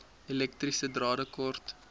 elektriese drade kort